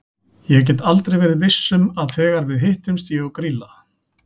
Ég get aldrei verið viss um að þegar við hittumst ég og Grýla.